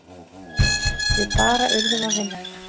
Við bara urðum að vinna þetta.